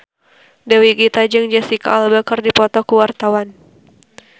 Dewi Gita jeung Jesicca Alba keur dipoto ku wartawan